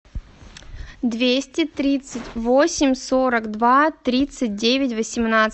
двести тридцать восемь сорок два тридцать девять восемнадцать